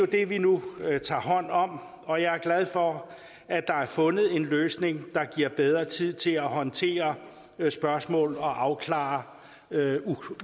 det vi nu tager hånd om og jeg er glad for at der er fundet en løsning der giver bedre tid til at håndtere spørgsmål og afklare